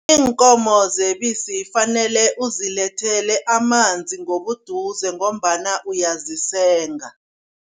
Iinkomo zebisi fanele uzilethele amanzi ngobuduze ngombana uyazisenga.